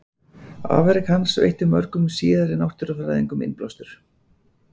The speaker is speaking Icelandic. Afrek hans veittu mörgum síðari náttúrufræðingum innblástur.